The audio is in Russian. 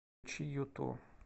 включи юту